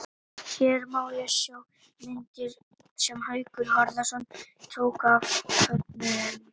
Hér má sjá myndir sem Haukur Harðarson tók af fögnuðinum.